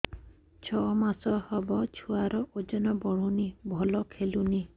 ଛଅ ମାସ ହବ ଛୁଆର ଓଜନ ବଢୁନି ଭଲ ଖେଳୁନି